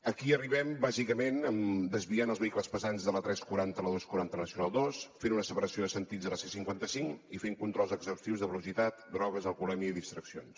aquí hi arribem bàsicament desviant els vehicles pesants de la n tres cents i quaranta i la dos cents i quaranta a la nacional ii fent una separació de sentits a la c cinquanta cinc i fent controls exhaustius de velocitat drogues alcoholèmia i distraccions